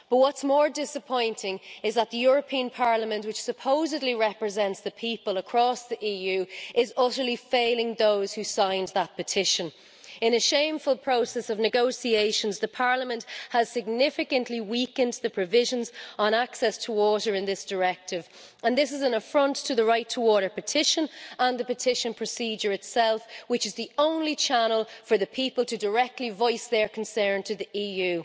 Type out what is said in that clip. But what is more disappointing is that the European Parliament, which supposedly represents the people across the EU, is utterly failing those who signed that petition. In a shameful process of negotiations, Parliament has significantly weakened the provisions on access to water in this directive and this is an affront to the Right2Water petition and the petition procedure itself, which is the only channel for the people to directly voice their concern to the EU.